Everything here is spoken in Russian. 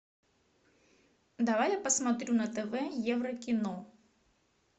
давай я посмотрю на тв евро кино